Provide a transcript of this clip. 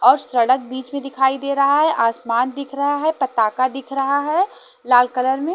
और सड़क बीच में दिखाई दे रहा है आसमान दिख रहा है पताका दिख रहा है लाल कलर में--